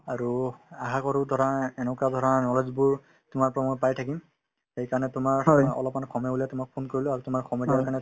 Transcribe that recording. আৰু আশা কৰো ধৰা এনেকুৱা ধৰা knowledge বোৰ তোমাৰ পৰা মই পায়ে থাকিম সেইকাৰণে তোমাৰ অলপমান সময় উলিয়াই তোমাক phone কৰিলো আৰু তোমাৰ সময় দিয়াৰ কাৰণে